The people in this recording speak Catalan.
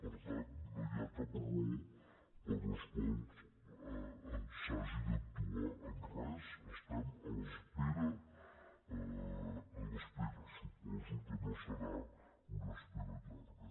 per tant no hi ha cap raó per la qual s’hagi d’actuar en res estem a l’espera suposo que no serà una espera llarga